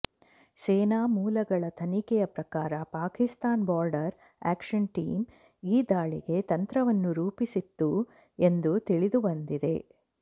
ಸೇನಾ ಮೂಲಗಳ ತನಿಖೆಯ ಪ್ರಕಾರ ಪಾಕಿಸ್ತಾನ ಬಾರ್ಡರ್ ಆಕ್ಷನ್ ಟೀಮ್ ಈ ದಾಳಿಗೆ ತಂತ್ರವನ್ನು ರೂಪಿಸಿತ್ತು ಎಂದು ತಿಳಿದು ಬಂದಿದೆ